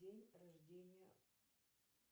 день рождения